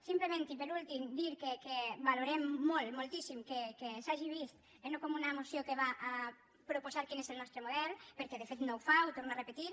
simplement i per últim dir que valorem molt moltíssim que s’hagi vist no com una moció que va a proposar quin és el nostre model perquè de fet no ho fa ho torno a repetir